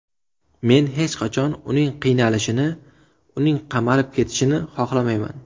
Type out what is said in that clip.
Men hech qachon uning qiynalishini, uning qamalib ketishini xohlamayman”.